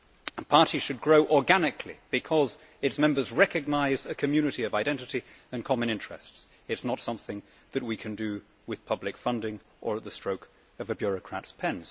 A party should grow organically because its members recognise a community of identity and common interests. It is not something that we can do with public funding or at the stroke of a bureaucrat's pen.